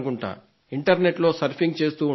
inter నెట్లో surfing చేస్తూ ఉండొచ్చు